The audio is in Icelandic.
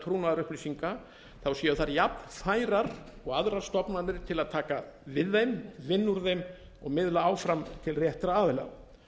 trúnaðarupplýsinga séu þær jafnfærar og aðrar stofnanir til að taka við þeim vinna úr þeim og miðla áfram til réttra aðila